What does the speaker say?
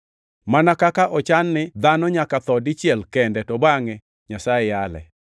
Mana kaka ochan ni dhano nyaka tho dichiel kende to bangʼe Nyasaye yale,